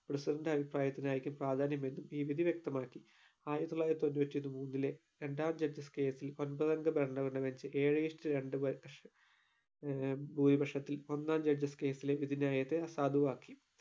president ന്റെ അഭിപ്രായത്തിനായിരിക്കും പ്രാധാന്യം എന്ന് ഈ വിധി വ്യക്തമാക്കി ആയിരത്തി തൊള്ളായിരത്തിതൊണ്ണൂറ്റിന്ന് മൂന്നിലെ രണ്ടാം judges case ൽ ഒൻപത് അംഗ ഭരണമനുസരിച് ഏഴേ is to രണ്ട് ഏർ ഭൂരിപക്ഷത്തിൽ ഒന്നാം judges case ലെ വിധി നയത്തെ അസാധുവാക്കി.